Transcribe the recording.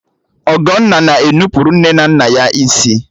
Ọgọnna na e nupụrụ nne na nna ya isi